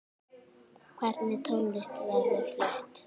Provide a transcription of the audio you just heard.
Hvernig tónlist verður flutt?